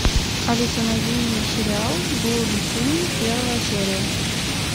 алиса найди мне сериал блудный сын первая серия